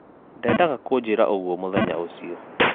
Ndendaga kũnjĩra ũguo mũthenya ũcio